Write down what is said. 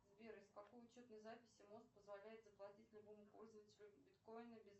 сбер из какой учетной записи мозг позволяет заплатить любому пользователю биткоина